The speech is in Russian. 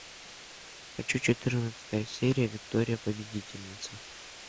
хочу четырнадцатая серия виктория победительница